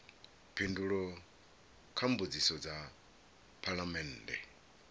phindulo kha mbudziso dza phalamennde